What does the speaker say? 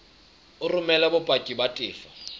o romele bopaki ba tefo